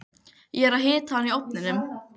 Ég er að hita hana í ofninum.